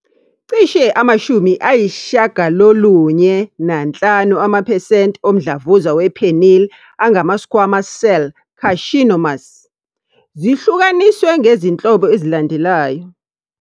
Cishe ama-95 amaphesenti omdlavuza we-penile angama- squamous cell carcinomas. Zihlukaniswe ngezinhlobo ezilandelayo.